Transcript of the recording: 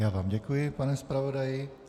Já vám děkuji, pane zpravodaji.